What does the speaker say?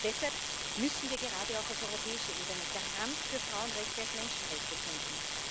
Deshalb müssen wir gerade auch auf europäischer Ebene als Garant für Frauenrechte als Menschenrechte kämpfen.